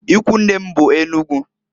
Ikwunne m be Enugu.